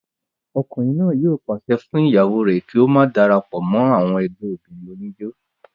ọkùnrin náà yóò pàṣẹ fún ìyàwó rẹ̀ kí ó má darapọ̀ mọ́ ẹgbẹ́ àwọn obìnrin oníjó